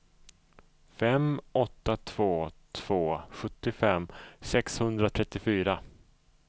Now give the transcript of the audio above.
fem åtta två två sjuttiofem sexhundratrettiofyra